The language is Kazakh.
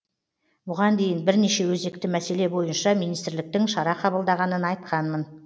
бұған дейін бірнеше өзекті мәселе бойынша министрліктің шара қабылдағанын айтқанмын